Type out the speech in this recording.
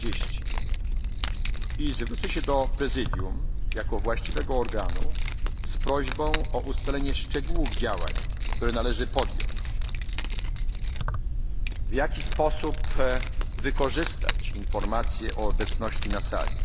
18.30 i zwrócę się do Prezydium, jako właściwego organu, z prośbą o ustalenie szczegółów działań, które należy podjąć, w jaki sposób wykorzystać informacje o obecności